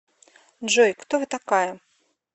джой кто вы такая